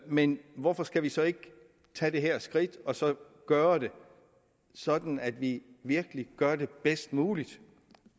men hvorfor skal vi så ikke tage det her skridt og så gøre det sådan at vi virkelig gør det bedst muligt